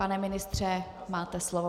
Pane ministře, máte slovo.